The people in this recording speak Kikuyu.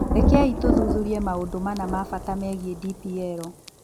Rekei tũthuthurie maũndũ mana ma bata megiĩ kũhũthĩra DPL: